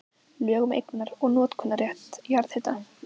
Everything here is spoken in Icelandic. Lög um eignar- og notkunarrétt jarðhita.